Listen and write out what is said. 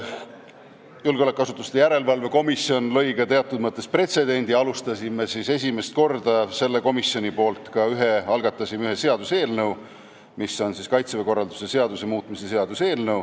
Julgeolekuasutuste järelevalve erikomisjon lõi ka teatud mõttes pretsedendi, sest see komisjon algatas esimest korda seaduseelnõu, Kaitseväe korralduse seaduse muutmise seaduse eelnõu.